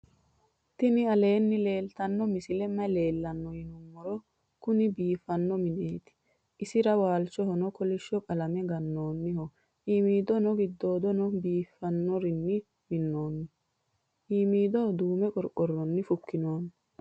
tini aleni leltano misileni maayi leelano yinnumoro. kuuni bifano minneti isira walchoho koolisho qalane ganoniho imidono gidodono bifanorinni minoni imido dume qorqoroni fukinoni.